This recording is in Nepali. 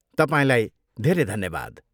तपाईँलाई धेरै धन्यवाद!